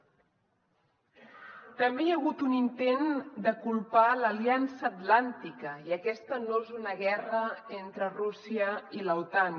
també hi ha hagut un intent de culpar l’aliança atlàntica i aquesta no és una guerra entre rússia i l’otan